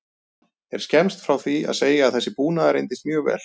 Er skemmst frá því að segja að þessi búnaður reyndist mjög vel.